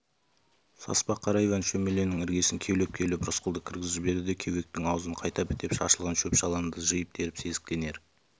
саспа қара иван шөмеленің іргесін кеулеп-кеулеп рысқұлды кіргізіп жіберді де кеуектің аузын қайта бітеп шашылған шөп-шаламды жиып-теріп сезіктенер